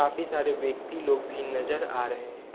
सारे व्यक्ति लोग भी नजर आ रहे हैं ।